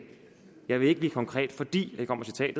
jeg vil ikke blive konkret fordi